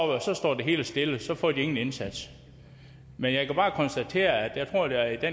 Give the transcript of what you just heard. det hele stille og så får de ingen indsats men jeg kan bare konstatere at der